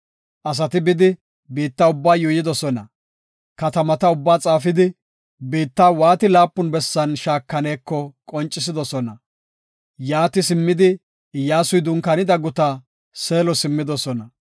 Asati bidi, biitta ubbaa yuuyidosona. Katamata ubbaa xaafidi, biitta waati laapun bessan shaakaneko qoncisidosona. Yaati simmidi, Iyyasuy dunkaanida gutaa, Seelo simmidosona.